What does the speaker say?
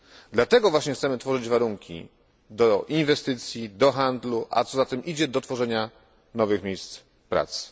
Dlatego właśnie chcemy tworzyć warunki do inwestycji, do handlu, a co za tym idzie do tworzenia nowych miejsc pracy.